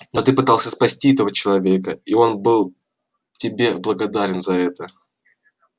но ты пытался спасти этого человека и он был тебе благодарен за это